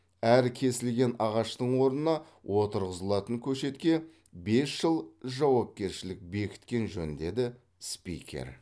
әр кесілген ағаштың орнына отырғызылатын көшетке бес жыл жауапкершілік бекіткен жөн деді спикер